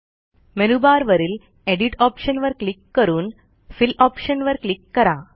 मेनूबारवरील एडिट Optionवर क्लिक करून फिल ऑप्शन वर क्लिक करा